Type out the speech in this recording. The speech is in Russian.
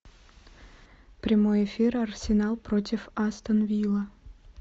прямой эфир арсенал против астон вилла